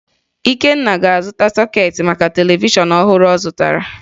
Ikenna ga-azụta sọkeetị maka televishọn ọhụrụ ọ zụtara